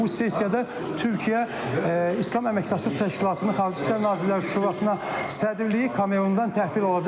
və bu sessiyada Türkiyə İslam Əməkdaşlıq Təşkilatının Xarici İşlər Nazirləri Şurasına sədrliyi Kamerundan təhvil alacaq